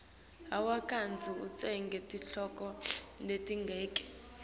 hawu kandzi utsenge titoko letingaki